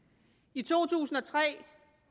i to tusind og tre